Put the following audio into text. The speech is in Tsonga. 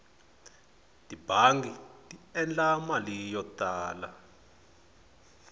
tibangi ti endla mali yo tala